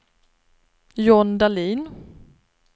John Dahlin